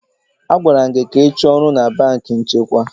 A gwara m gị ka ị chọọ ọrụ na banki nchekwa?